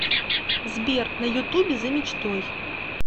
сбер на ютубе за мечтой